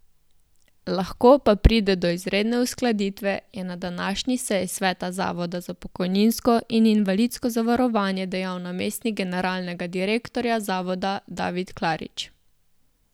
Lahko pa pride do izredne uskladitve, je na današnji seji sveta Zavoda za pokojninsko in invalidsko zavarovanje dejal namestnik generalnega direktorja zavoda David Klarič.